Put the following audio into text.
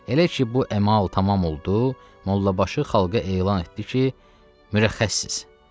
Elə ki, bu əmal tamam oldu, Mollabaşı xalqa elan etdi ki, mürəxxəssiz.